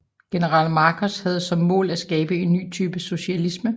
General Markos havde som mål at skabe en ny type socialisme